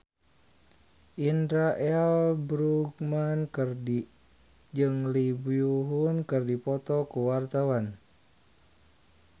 Indra L. Bruggman jeung Lee Byung Hun keur dipoto ku wartawan